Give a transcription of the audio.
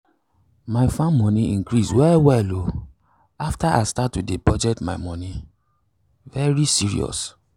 my farm money increase well well o after i start to dey budget my moni um serious.